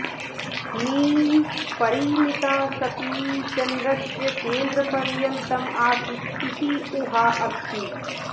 मी परिमिता सती चन्द्रस्य केन्द्रपर्यन्तम् आसीत् इति ऊहा अस्ति